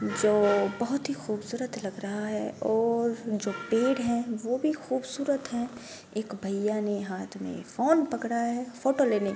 जो बहोत ही खूबसूरत लग रहा है और जो पेड़ है वो भी खूबसूरत है एक भैया ने हाथ मे फोन पकड़ा है फोटो लेने के --